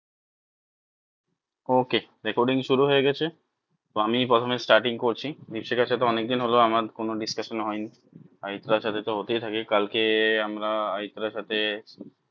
Okay recording শুরু হয়ে গেছে তো আমি প্রথমে starting করছি দ্বীপশিখার সাথে অনেক দিন হলো আমার কোনো discussion হয়নি অরিত্রার সাথে তো হতেই থাকে কালকে আমরা অরিত্রার সাথে